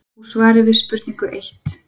Úr svari við spurningu eitt